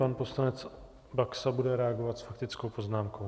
Pan poslanec Baxa bude reagovat s faktickou poznámkou.